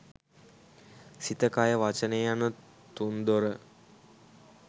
සිත, කය, වචනය යන තුන්දොර